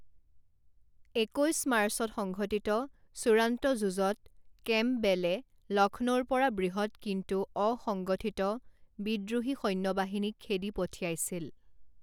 একৈছ মাৰ্চত সংঘটিত চূড়ান্ত যুঁজত কেম্পবেলে লক্ষ্ণৌৰ পৰা বৃহৎ কিন্তু অসংগঠিত বিদ্ৰোহী সৈন্যবাহিনীক খেদি পঠিয়াইছিল।